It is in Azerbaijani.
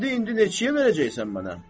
Qəndi indi neçəyə verəcəksən mənə?"